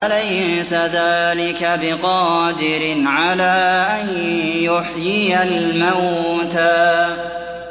أَلَيْسَ ذَٰلِكَ بِقَادِرٍ عَلَىٰ أَن يُحْيِيَ الْمَوْتَىٰ